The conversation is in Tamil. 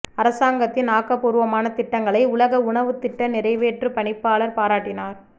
அரசாங்கத்தின் ஆக்கபூர்வமான திட்டங்களை உலக உணவுத் திட்ட நிறைவேற்றுப் பணிப்பாளர் பாராட்டினார்